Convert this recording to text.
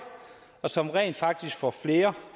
og som rent faktisk får flere